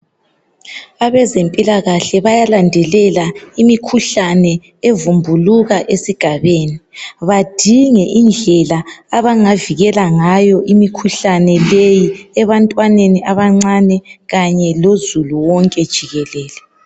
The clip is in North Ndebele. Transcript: abezempilakahle bayalandelela imikhuhlane evumbuluka esigabeni badinge indlela abangavikela ngayo imikhuhlane leyi ebantwaneni abancane kanye lozulu wonke jikelele